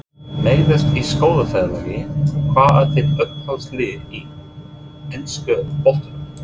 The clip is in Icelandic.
Meiðast í skólaferðalagi Hvað er þitt uppáhaldslið í enska boltanum?